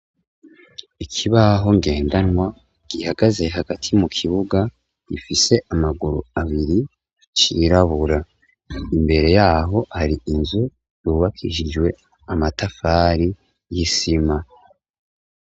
Ikibaho ngendanwa, gihagaze hagati mu kibuga, gifise amaguru abiri, cirabura. Imbere yaho hari inzu, yubakishijwe amatafari y'isima.